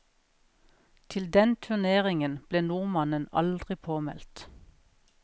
Til den turneringen ble nordmannen aldri påmeldt.